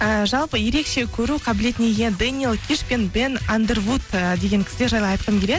ыыы жалпы ерекше көру қабілетіне ие дэниел киш пен бен андервуд ы деген кісілер жайлы айтқым келеді